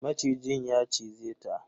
Macijin ya cize ta.